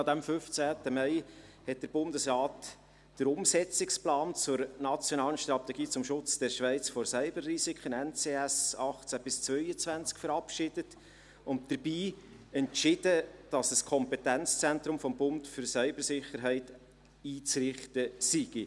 An diesem 15. Mai hat der Bundesrat Umsetzungsplan zur «Nationalen Strategie zum Schutz der Schweiz vor Cyber-Risiken (NCS) 2018–2022» verabschiedet und dabei entschieden, dass ein Kompetenzzentrum des Bundes für Cybersicherheit einzurichten sei.